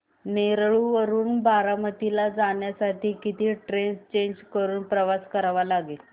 नेरळ वरून बारामती ला जाण्यासाठी किती ट्रेन्स चेंज करून प्रवास करावा लागेल